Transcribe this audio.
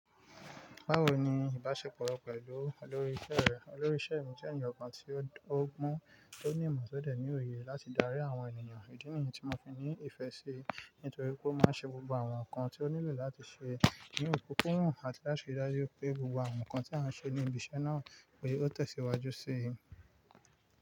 Báwo ni ìbáṣepọ̀ rẹ pẹ̀lú olórí iṣẹ́ rẹ? Olórí iṣẹ́ mi jẹ́ ènìyàn kan tí ó gbọ́n, tí ó ní ìmọ̀, ti o dẹ́ ní òye láti darí àwọn ènìyàn. Ìdí nìyẹn tí mo fi ní ìfẹ́ síi nítorí pé ó máa ṣe gbogbo àwọn nǹkan tí ó nílò láti ṣe ní ìbúkún àti láti rí i dájú pé gbogbo àwọn nǹkan tí a ń ṣe ní ibi iṣẹ́ náà ó tẹ̀síwájú síi.